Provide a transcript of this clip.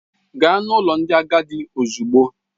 Gaa n'ụlọ ndị agadi ozugbo!